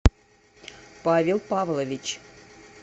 павел павлович